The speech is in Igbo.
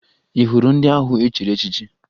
Ị hụrụ ndị ahụ e chiri echichi?